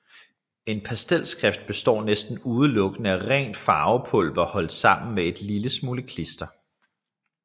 En pastelstift består næsten udelukkende af rent farvepulver holdt sammen med en lille smule klister